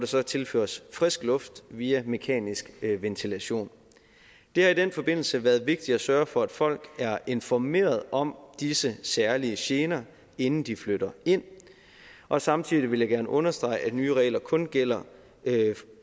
så tilføres frisk luft via mekanisk ventilation det har i den forbindelse været vigtigt at sørge for at folk er informeret om disse særlige gener inden de flytter ind og samtidig vil jeg gerne understrege at de nye regler kun gælder